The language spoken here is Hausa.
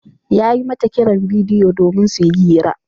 Ya yi mata kiran bidiyo domin su yi hira.